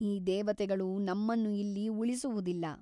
ಈ ದೇವತೆಗಳು ನಮ್ಮನ್ನು ಇಲ್ಲಿ ಉಳಿಸುವುದಿಲ್ಲ.